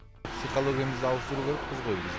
психологиямызды ауыстыру керек бізге негізі